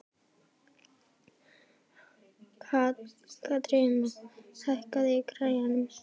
Katharina, hækkaðu í græjunum.